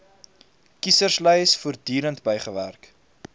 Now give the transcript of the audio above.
kieserslys voortdurend bygewerk